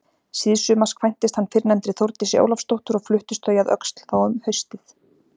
Síðsumars kvæntist hann fyrrnefndri Þórdísi Ólafsdóttur og fluttust þau að Öxl þá um haustið.